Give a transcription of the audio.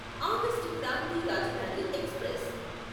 August Kranti Rajdhani express